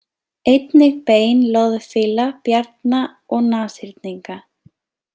Einnig bein loðfíla, bjarna og nashyrninga.